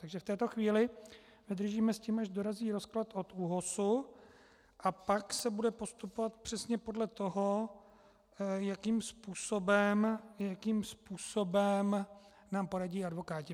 Takže v této chvíli vydržíme s tím, až dorazí rozklad od ÚOHSu, a pak se bude postupovat přesně podle toho, jakým způsobem nám poradí advokáti.